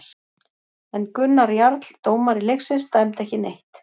En Gunnar Jarl dómari leiksins dæmdi ekki neitt.